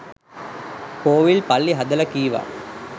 කෝවිල් පල්ලි හදලා කීවා